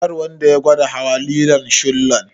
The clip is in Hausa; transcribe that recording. Kar wanda ya gwada hawa lilon shillon.